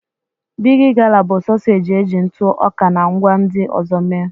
Bigi gala bụ sọseeji eji ntụ ọka na ngwá ndị ọzọ mee.